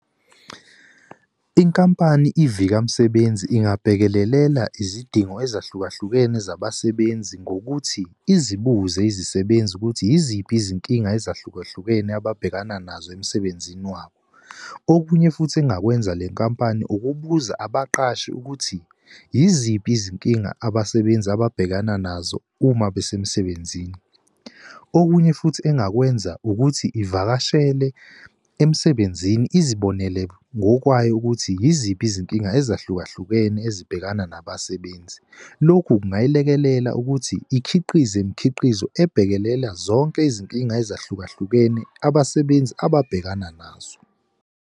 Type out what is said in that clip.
Inkampani ivikasebenzi ingabhekelelela izidingo ezahlukahlukene zabasebenzi ngokuthi izibuze izisebenzi ukuthi yiziphi izinkinga ezahlukahlukene ababhekana nazo emsebenzini wabo. Okunye futhi engakwenza le nkampani ukubuza abaqashi ukuthi yiziphi izinkinga abasebenzi ababhekana nazo uma besemsebenzini. Okunye futhi engakwenza ukuthi ivakashele emsebenzini izibonele ngokwayo ukuthi yiziphi izinkinga ezahlukahlukene ezibhekana nabasebenzi. Lokhu kungalekelela ukuthi ikhiqize imikhiqizo ebhekelela zonke izinkinga ezahlukahlukene abasebenzi ababhekana nazo.